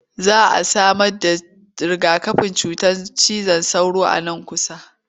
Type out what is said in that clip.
Za a samarda riga-kafin cutar cizon sauro nan kusa.